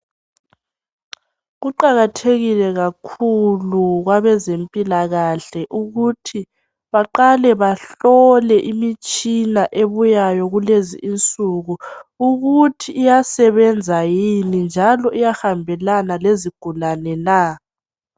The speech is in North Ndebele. Kuqakathekile kakhulu kwabezempilakahle ukuthi baqale bahlole imitshina ebuyayo kulezinsuku ukuthi iyasebenza yini njalo iyahambelana lezigulane.